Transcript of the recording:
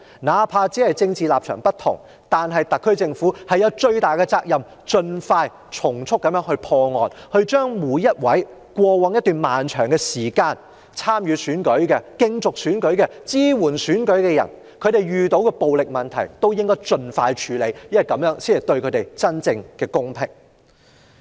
哪怕政治立場不同，特區政府亦負有最大的責任從速破案，盡快處理過往一段長時間每個參與和支援選舉的人所遇到的暴力問題，這樣才可給予他們真正的公平。